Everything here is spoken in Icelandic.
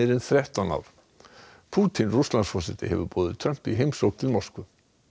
en þrettán ár Pútín Rússlandsforseti hefur boðið Trump í heimsókn til Moskvu